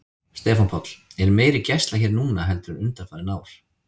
Stefán Páll: Er meiri gæsla hér núna heldur en undanfarin ár?